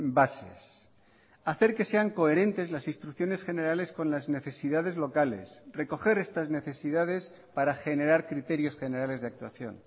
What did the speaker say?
bases hacer que sean coherentes las instrucciones generales con las necesidades locales recoger estas necesidades para generar criterios generales de actuación